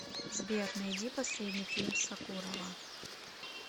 сбер найди последний фильм сокурова